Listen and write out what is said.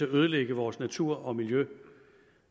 ødelægge vores natur og miljø